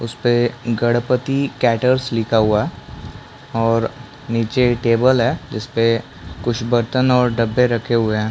उस पे गणपति कैटर्स लिखा हुआ और नीचे टेबल है जिसपे कुछ बर्तन और डब्बे रखे हुए है।